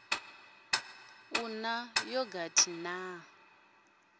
u ḓe na yogathi na